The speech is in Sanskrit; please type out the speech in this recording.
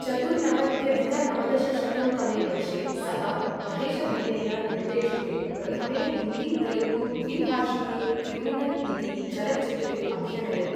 चतुर्नवत्यधिक नवदशशतं तमे वर्षे सः महेशभट्टेन निर्देशिते प्रथमे हिन्दी तेलुगु द्विभाषिके क्रिमिनल् इति चलच्चित्रे अभ्यनयत्।